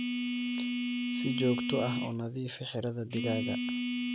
Si joogto ah u nadiifi xiradhaa digaaga.